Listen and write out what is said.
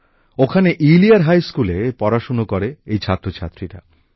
ওখানে ইলিয়ার হাইস্কুলে পড়াশোনা করে এই ছাত্র ছাত্রীরা